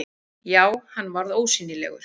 Já, hann varð ósýnilegur!